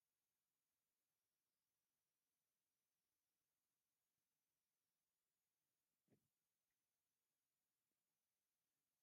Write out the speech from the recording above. ካሮት፣ ቐስር፣ ካብሎ ወዘተ ዝኣምሰሉ እዮም።